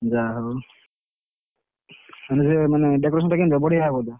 ଯାହା ହଉ, ମୁଁ କହିଲି ମାନେ decoration ଟା କେମିତି ହବ ବଢିଆ ହବ ତ।